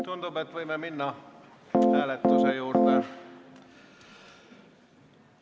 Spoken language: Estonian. Tundub, et võime hääletada.